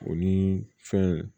O ni fɛn